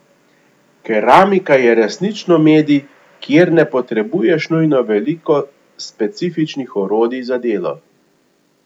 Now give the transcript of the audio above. Keramika je resnično medij, kjer ne potrebuješ nujno veliko specifičnih orodij za delo.